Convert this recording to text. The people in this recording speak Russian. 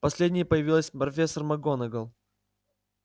последней появилась профессор макгонагалл